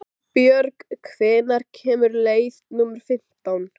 Sæbjörg, hvenær kemur leið númer fimmtán?